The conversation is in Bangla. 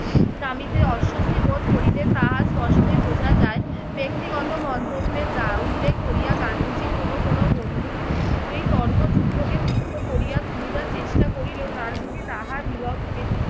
নামিতে অস্বস্তি বোধ করিতেন তাহা স্পষ্টই বোঝা যায়। ব্যক্তিগত মন্তব্যে তা উল্লেখ করিয়া গান্ধীজির কোন কোন বন্ধু এই তর্কযুদ্ধকে তীর্থ করিয়া খুলিবার চেষ্টা করিলেও গান্ধীজি তাহার বীরত্বের